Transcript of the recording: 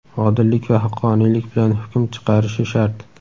odillik va haqqoniylik bilan hukm chiqarishi shart.